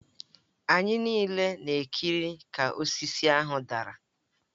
Anyị niile na-ekiri ka osisi ahụ dara